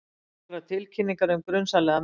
Nokkrar tilkynningar um grunsamlega menn